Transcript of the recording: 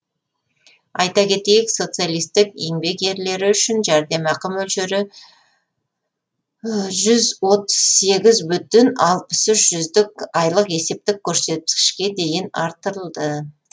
айта кетейік социалистік еңбек ерлері үшін жәрдемақы мөлшері жүз отыз сегіз бүтін алпыс үш жүздік айлық есептік көрсеткішке дейін арттырылды